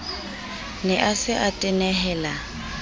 ne a se a tenehela